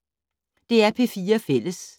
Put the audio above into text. DR P4 Fælles